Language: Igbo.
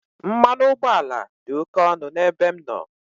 Mmanụ ụgbọala dị oke ọnụ n'ebe m nọ.